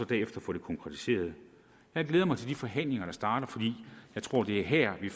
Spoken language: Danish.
derefter får det konkretiseret jeg glæder mig til de forhandlinger der starter for jeg tror det er her vi